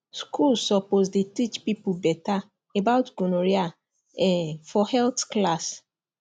schools suppose dey teach people better about gonorrhea um for health class